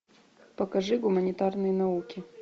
покажи гуманитарные науки